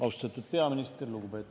Austatud peaminister!